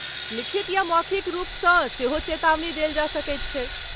लिखित या मौखिक रुपसँ सेहो चेतावनी देल जा सकैत छै।